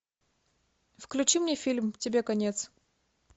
включи мне фильм тебе конец